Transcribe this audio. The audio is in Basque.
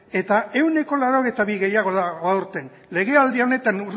eta ehuneko laurogeita bi gehiago dago aurten legealdi honetan